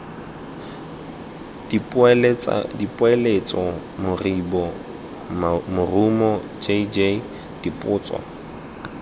dipoeletso moribo morumo jj dipotso